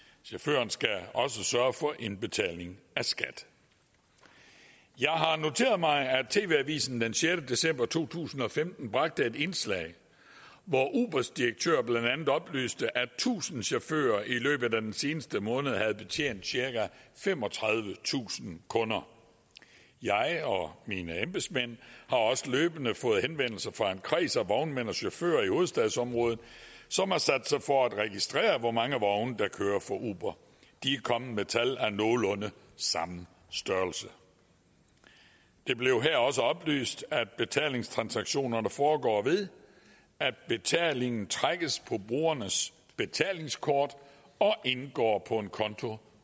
chaufføren skal også sørge for indbetaling af skat jeg har noteret mig at tv avisen den sjette december to tusind og femten bragte et indslag hvor ubers direktør blandt andet oplyste at tusind chauffører i løbet af den seneste måned havde betjent cirka femogtredivetusind kunder jeg og mine embedsmænd har også løbende fået henvendelser fra en kreds af vognmænd og chauffører i hovedstadsområdet som har sat sig for at registrere hvor mange vogne der kører for uber de er kommet med tal af nogenlunde samme størrelse det blev her også oplyst at betalingstransaktionerne foregår ved at betalingen trækkes på brugernes betalingskort og indgår på en konto